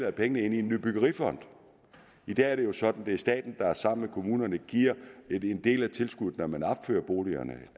af pengene ind i ny byggerifond i dag er det jo sådan at det er staten der sammen med kommunerne giver en del af tilskuddet når man opfører boligerne